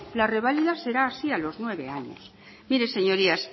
la reválida será así a los nueve años mire señorías